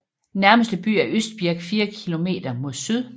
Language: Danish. Nærmeste by er Østbirk fire kilometer mod syd